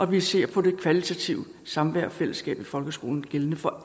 vi ser på det kvalitative samvær og fællesskab i folkeskolen gældende for